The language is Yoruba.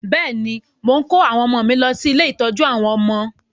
Bẹ́ẹ̀ ni, mò ń kó àwọn ọmọ mi lọ sí ilé-ìtọ́jú àwọn ọmọ